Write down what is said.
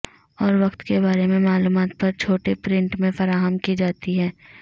اور وقت کے بارے میں معلومات پر چھوٹے پرنٹ میں فراہم کی جاتی ہے